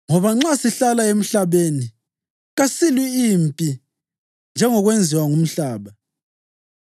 Ngoba lanxa sihlala emhlabeni, kasilwi mpi njengokwenziwa ngumhlaba.